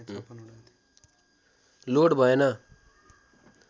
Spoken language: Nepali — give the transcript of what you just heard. लोड भएन